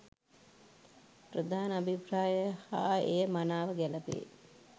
ප්‍රධාන අභිප්‍රාය හා එය මනාව ගැළපේ.